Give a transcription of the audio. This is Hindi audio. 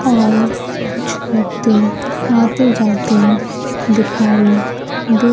और कुछ व्यक्ति आते जाते दिखाई दे--